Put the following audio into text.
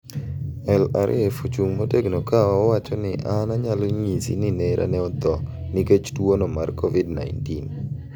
" El-Arif ochung' motegno ka owacho ni an onyalo ng'isi ni nera ne otho nikech tuono mar kovid-19